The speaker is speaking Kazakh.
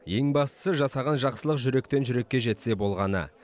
ең бастысы жасаған жақсылық жүректен жүрекке жетсе болғаны